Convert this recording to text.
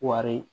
Wari